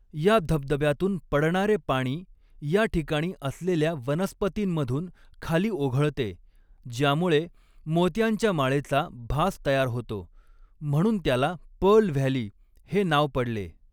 या धबधब्यातून पडणारे पाणी या ठिकाणी असलेल्या वनस्पतींमधून खाली ओघळते, ज्यामुळे मोत्यांच्या माळेचा भास तयार होतो, म्हणून त्याला पर्ल व्हॅली हे नाव पडले.